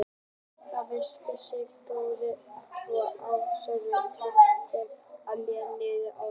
Þær festa sig við botninn svo að straumurinn taki þær ekki með niður ána.